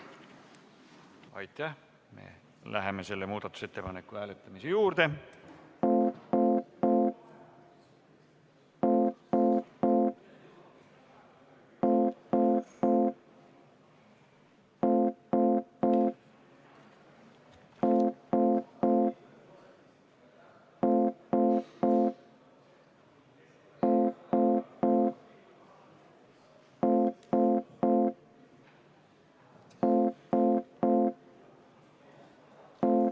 Palun esimest muudatusettepanekut hääletada!